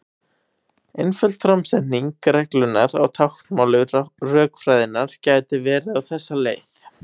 Einföld framsetning reglunnar á táknmáli rökfræðinnar gæti verið á þessa leið: